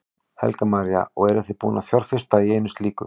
Helga María: Og eruð þið búin að fjárfesta í einu slíku?